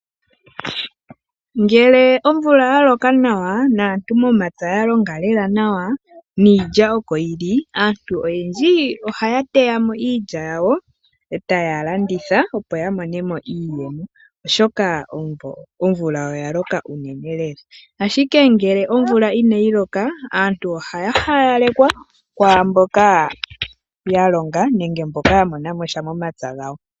Ngele omvula ya loka nawa, naantu momapya ya longa lela nawa niilya oko yili, aantu oyendji ohaya teya mo iilya yawo etaya landitha, opo ya mone mo iiyemo, oshoka omvula loka unene lela. Ashike ngele omvula inayi loka, aantu haya haya lekwa kwaamboka ya longa nenge mboka ya mona mo sha momapya gawo.